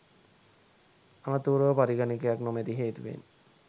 අනතුරුව පරිගනකයක් නොමැති හේතුවෙන්